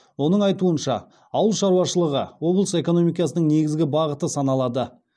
оның айтуынша ауыл шаруашылығы облыс экономикасының негізгі бағыты саналады